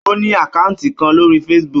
Ó ní àkátì kan lórí Facebook.